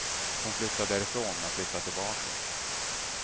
Hon flyttade därifrån men flyttade tillbaka.